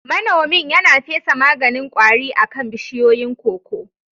Manomin yana fesa maganin kwari akan bishiyoyin koko